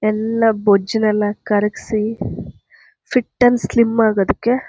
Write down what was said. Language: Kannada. ಎಲ್ಲ ಬೊಜ್ಜನ್ನ ಎಲ್ಲ ಕರಗಸಿ ಫಿಟ್ ಅಂಡ್ ಸ್ಲಿಮ್ ಆಗೋದಕ್ಕೆ --